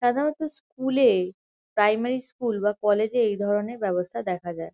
সাধারণত স্কুল -এ primary school বা কলেজ -এ এইধরণের ব্যাবস্থা দেখা যায়।